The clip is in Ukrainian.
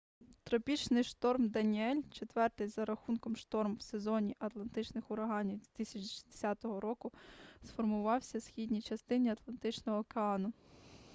тропічний шторм даніель четвертий за рахунком шторм в сезоні атлантичних ураганів 2010 року сформувався в східній частині атлантичного океану